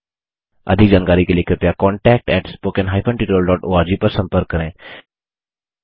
अधिक जानकारी के लिए कृपया contactspoken hyphen tutorial dot ORG पर संपर्क करें